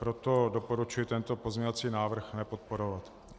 Proto doporučuji tento pozměňovací návrh nepodporovat.